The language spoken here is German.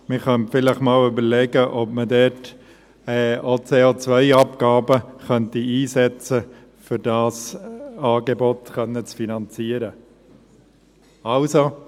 Man könnte sich vielleicht noch überlegen, ob man dort auch die CO-Abgabe einsetzen könnte, um dieses Angebot finanzieren zu können.